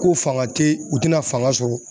Ko fanga te yen u tɛna fanga sɔrɔ